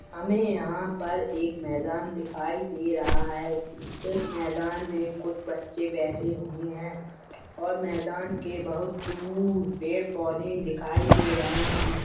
हमें यहाँ पर एक मैदान दिखाई दे रहा है इस मैदान मे कुछ बच्चे बैठे हुए हैं और मैदान के बहुत दूर पेड़-पौधे दिखाई दे रहे हैं |